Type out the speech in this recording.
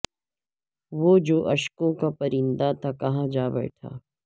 وہ جو اشکوں کا پرندہ تھا کہاں جا بیٹھا